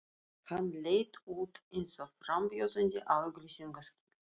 Hann leit út eins og frambjóðandi á auglýsingaskilti.